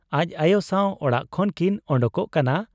ᱟᱡ ᱟᱭᱚ ᱥᱟᱶ ᱚᱲᱟᱜ ᱠᱷᱚᱱ ᱠᱤᱱ ᱚᱰᱚᱠᱚᱜ ᱠᱟᱱᱟ ᱾